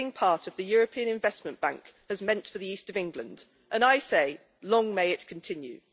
is what being part of the European Investment Bank has meant for the East of England, and I say long may it continue'.